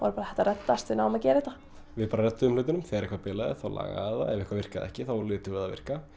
bara þetta reddast við náum að gera þetta við bara redduðum hlutunum þegar eitthvað bilaði þá lagaði það þegar eitthvað virkaði ekki þá létum við það virka